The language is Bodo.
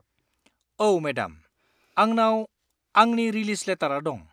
औ, मेडाम! आंनाव आंनि रिलिज लेटारआ दं।